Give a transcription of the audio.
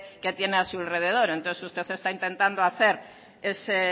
que tiene a su alrededor entonces usted está intentando hacer ese